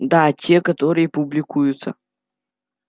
да те которые публикуются